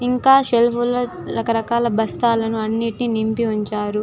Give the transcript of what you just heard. ఇంకా సెల్ఫ్ లో రకరకాల బస్తాలు అనేవి నింపి ఉంచారు.